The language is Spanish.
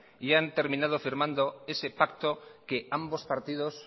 y han terminado firmando ese pacto que ambos partidos